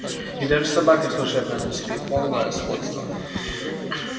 и даже собака служебная на цепи полное сходство